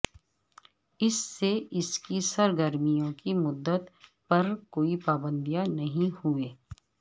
اس سے اس کی سرگرمیوں کی مدت پر کوئی پابندیاں نہیں ہوئے